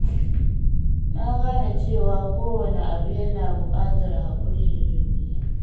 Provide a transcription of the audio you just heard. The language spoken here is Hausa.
Na gane cewa kowane abu yana buƙatar hakuri da juriya.